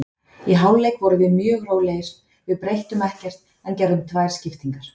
Í hálfleik vorum við mjög rólegir, við breyttum ekkert en gerðum tvær skiptingar.